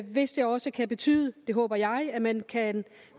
hvis det også kan betyde det håber jeg at man kan